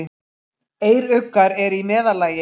Eyruggar eru í meðallagi.